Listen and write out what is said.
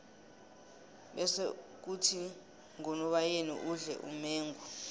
bese khuthi ngonobayeni udle umengo